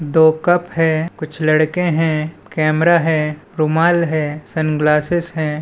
दो कप है कुछ लड़के है कैमरा है रुमाल है सनग्लासेस हैं।